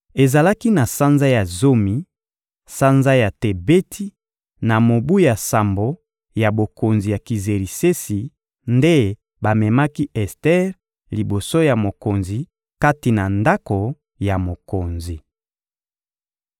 Ezalaki na sanza ya zomi, sanza ya Tebeti, na mobu ya sambo ya bokonzi ya Kizerisesi nde bamemaki Ester liboso ya mokonzi kati na ndako ya mokonzi.